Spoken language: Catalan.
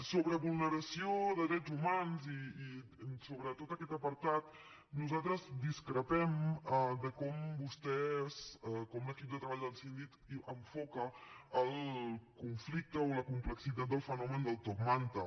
sobre vulneració de drets humans sobre tot aquest apartat nosaltres discrepem de com vostès com l’equip de treball del síndic enfoca el conflicte o la complexitat del fenomen del top manta